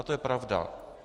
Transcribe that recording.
A to je pravda.